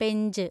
Pench